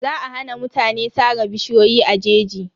Za a hana mutane sare bishiyoyi a jeji.